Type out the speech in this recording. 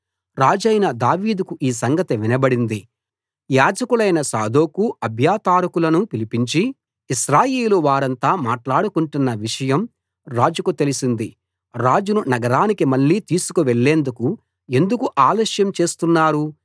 రాజైన దావీదుకు ఈ సంగతి వినబడింది యాజకులైన సాదోకు అబ్యాతారుకులను పిలిపించి ఇశ్రాయేలు వారంతా మాట్లాడుకొంటున్న విషయం రాజుకు తెలిసింది రాజును నగరానికి మళ్ళీ తీసుకు వెళ్లేందుకు ఎందుకు ఆలస్యం చేస్తున్నారు